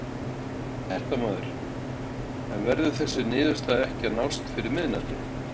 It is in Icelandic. Fréttamaður: En verður þessi niðurstaða ekki að nást fyrir miðnætti?